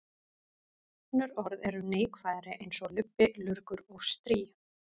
Önnur orð eru neikvæðari eins og lubbi, lurgur og strý.